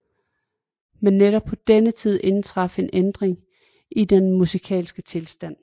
Men netop på denne tid indtraf en ændring i den musikale tilstand